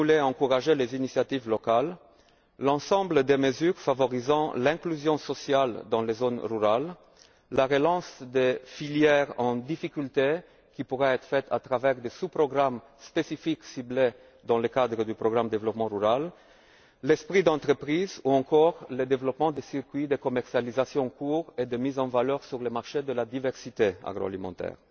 pour encourager les initiatives locales, l'ensemble des mesures favorisant l'inclusion sociale dans les zones rurales, la relance des filières en difficulté, qui pourrait s'opérer à travers des sous programmes spécifiques ciblés dans le cadre du programme pour le développement rural, l'esprit d'entreprise ou encore le développement des circuits de commercialisation courts et de mise en valeur sur le marché de la diversité agroalimentaire.